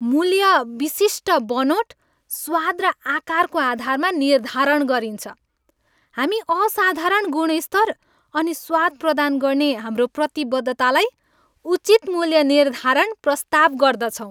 मूल्य विशिष्ट बनोट, स्वाद र आकारको आधारमा निर्धारण गरिन्छ। हामी असाधारण गुणस्तर अनि स्वाद प्रदान गर्ने हाम्रो प्रतिबद्धतालाई उचित मूल्य निर्धारण प्रस्ताव गर्दछौँ।